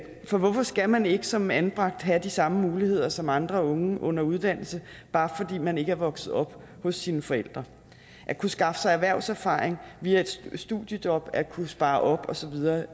for hvorfor skal man ikke som anbragt have de samme muligheder som andre unge under uddannelse bare fordi man ikke er vokset op hos sine forældre at kunne skaffe sig erhvervserfaring via et studiejob og at kunne spare op og så videre